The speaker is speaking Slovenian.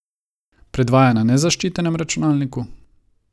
Predvaja na nezaščitenem računalniku?